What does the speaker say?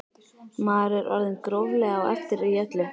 Maður er orðinn gróflega á eftir í öllu.